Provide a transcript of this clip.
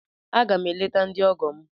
Aga m eleta ndị ọgọ m.